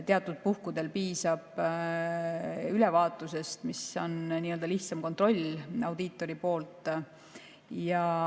Teatud puhkudel piisab ülevaatusest, mis on lihtsam kontroll audiitori poolt.